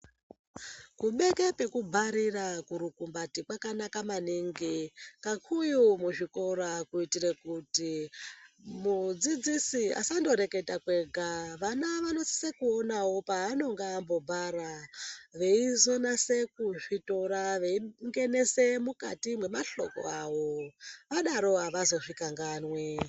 Kubeke pekubharira kurukumbati kwakanaka maningi. Kakuyu muzvikora kuitire kuti mudzidzisi asandoreketa kwega. Vana vanosisa kuonawo peanenge ambobhara veizonasa kuzvitora veingenese mukati mwemahloko avo. Vadaro avazozvikanganwi.